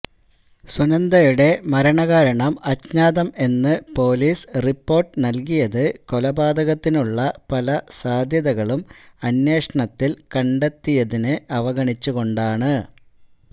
സുനന്ദയുടെ മരണകാരണം അജ്ഞാതം എന്ന് പോലീസ് റിപ്പോര്ട്ട് നല്കിയത് കൊലപാതകത്തിനുള്ള പല സാധ്യതകളും അന്വേഷണത്തില് കണ്ടെത്തിയതിന് അവഗണിച്ച് കൊണ്ടാണ്